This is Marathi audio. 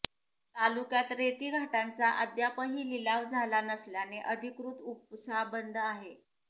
तालुक्यात रेतीघाटांचा अद्यापही लिलाव झाला नसल्याने अधिकृत उपसा बंद आहे